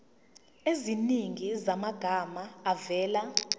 eziningi zamagama avela